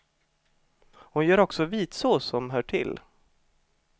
Hon gör också vitsås som hör till.